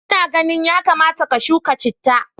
Ina ganin yakamata ka shuka chitta.